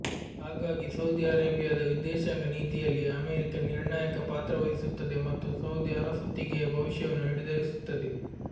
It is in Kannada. ಹಾಗಾಗಿ ಸೌದಿ ಅರೇಬಿಯಾದ ವಿದೇಶಾಂಗ ನೀತಿಯಲ್ಲಿ ಅಮೆರಿಕ ನಿರ್ಣಾಯಕ ಪಾತ್ರ ವಹಿಸುತ್ತದೆ ಮತ್ತು ಸೌದಿ ಅರಸೊತ್ತಿಗೆಯ ಭವಿಷ್ಯವನ್ನು ನಿರ್ಧರಿಸುತ್ತದೆ